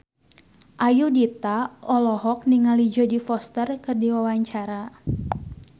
Ayudhita olohok ningali Jodie Foster keur diwawancara